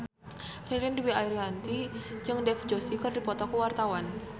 Ririn Dwi Ariyanti jeung Dev Joshi keur dipoto ku wartawan